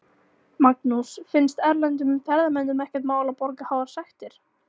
Magnús: Finnst erlendum ferðamönnum ekkert mál að borga háar sektir?